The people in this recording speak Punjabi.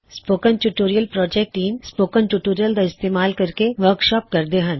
spoken tutorial project team spoken tutorials ਦਾ ਇਸਤੇਮਾਲ ਕਰਕੇ ਵਰਕਸ਼ਾਪਸ ਕਰਦੀ ਹੈ